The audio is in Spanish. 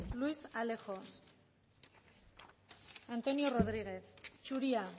luis alejos antonio rodriguez zuria